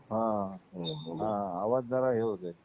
हां हो. आवाज जरा हे होत आहे.